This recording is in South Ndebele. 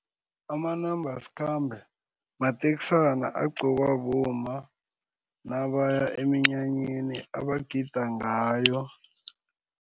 Amanambasikhambe mateksana agqokwa bomma nabaya eminyanyeni abagida ngawo.